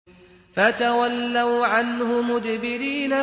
فَتَوَلَّوْا عَنْهُ مُدْبِرِينَ